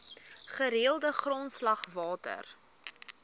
gereelde grondslag water